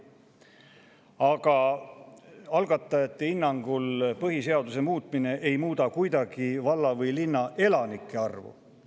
Aga algatajate hinnangul ei muuda põhiseaduse muutmine kuidagi valla‑ või linnaelanike arvu.